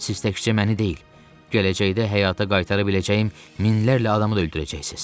Siz təkcə məni deyil, gələcəkdə həyata qaytara biləcəyim minlərlə adamı da öldürəcəksiz.